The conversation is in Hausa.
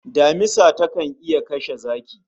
Damisa takan iya kashe zaki